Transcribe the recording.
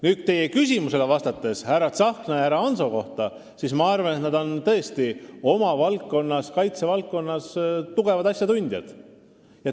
Nüüd, vastates teie küsimusele härra Tsahkna ja härra Hanso kohta, ma arvan, et nad on tõesti oma valdkonnas, kaitsevaldkonnas tugevad asjatundjad.